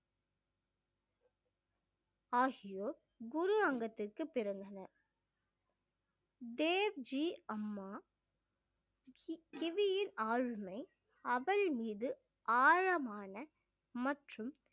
ஆகியோர் குரு அங்கத்திற்கு பிறந்தனர் தேவ் ஜி அம்மா கிவியின் ஆளுமை அவள் மீது ஆழமான மற்றும்